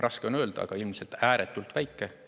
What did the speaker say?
Raske on öelda, aga ilmselt ääretult väike.